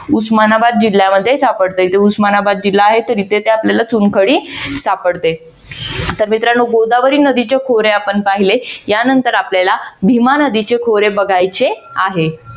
उस्मानाबाद जिल्ह्यामध्ये सापडतं. उस्मानाबाद जिल्हा आहे तरी तेथे आपल्याला चुनखडी सापडते. तर मित्रानो गोदावरी नदीचे खोरे आपण पाहिले यानंतर आपल्याला भीमा नदीचे खोरे बघायचे आहे.